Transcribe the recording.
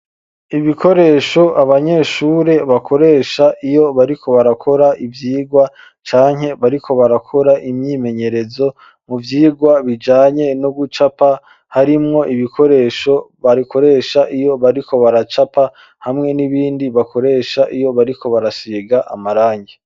Ibikoresho abanyeshure bakoresha iyo bariko barakora ivyirwa canke bariko barakora imyimenyerezo mu vyirwa bijanye no gucapa harimwo ibikoresho barikoresha iyo bariko baracapa hamwe n'ibindi bakoresha iyo bariko barasiga amarangi.